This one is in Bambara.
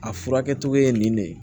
A furakɛ cogo ye nin de ye